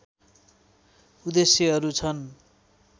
उद्देश्यहरू छन्